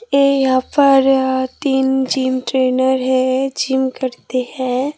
ये यहां पर तीन जिम ट्रेनर है जिम करते है।